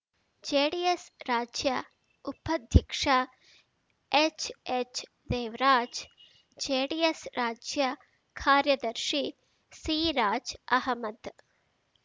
JDS ರಾಜ್ಯ ಉಪಾಧ್ಯಕ್ಷ H H Devaraj JDS ರಾಜ್ಯ ಕಾರ್ಯದರ್ಶಿ ಸಿರಾಜ್‌ ಅಹಮದ್‌